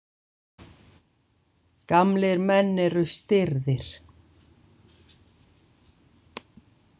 Gamlir menn eru stirðir.